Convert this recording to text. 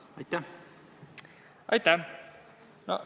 Aitäh!